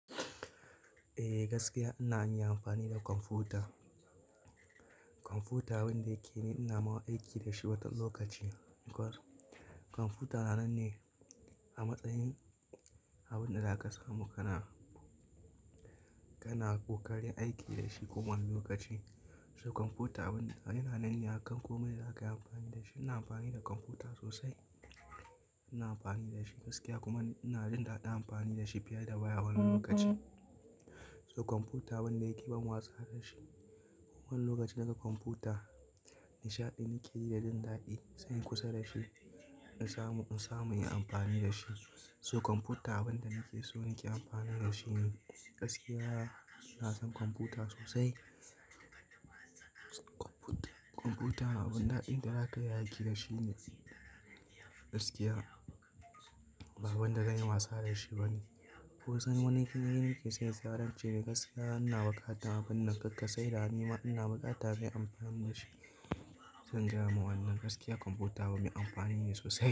Eh gaskiya ina yin amfani da kwamfuta. Kwamfuta wanda yake ni ina mawa aiki da shi watan lokaci. Kwar kwamfuta nan ne a matsayin abin da za ka samu kana, kana ko karin aiki da shi kowane lokaci. So kwamfuta abin yana nan ne a kan komai da za ka yi amfani da shi. Ina amfani da kwamfuta sosai, ina amfani da shi gaskiya kuma ina jin daɗin amfani da shi fiye da waya wani lokaci. So kwamfuta abin wanda yake ban wasa da shi. Kowane lokaci daga kwamfuta nishaɗin yake yi da jin daɗi sai in kusa da shi in samu, in samu in yi amfani da shi. So kwamfuta abin da nake so nake amfani da shi ne. Gaskiya ina son kwamfuta sosai. Kwamfuta, kwamfuta abin daɗin da za ka yi aiki da shi ne gaskiya. Ba abin da zanyi wasa da shi bane. Ko sai wani irin nake sayen sararince gaskiya ina bukatar abun nan kakkasai da hanima ina bukatar zan yi amfani da shi. Zan gaya ma wannan gaskiya kwamfuta abin amfani ne sosai.